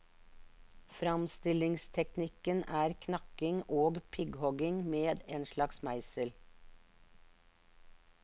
Framstillingsteknikken er knakking og prikkhogging med en slags meisel.